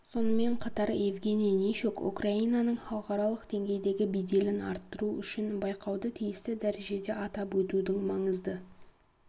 сонымен қатар евгений нищук украинаның халықаралық деңгейдегі беделін арттыру үшін байқауды тиісті дәрежеде атап өтудің маңызды